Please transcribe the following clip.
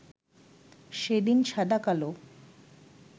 সেদিন সাদা-কালো